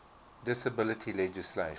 disability legislation